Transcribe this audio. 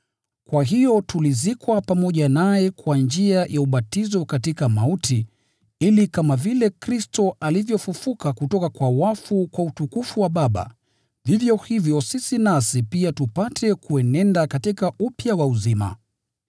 Kwa hiyo tulizikwa pamoja naye kwa njia ya ubatizo katika mauti, ili kama vile Kristo alivyofufuliwa kutoka kwa wafu kwa utukufu wa Baba, vivyo hivyo sisi nasi pia tupate kuenenda katika upya wa uzima.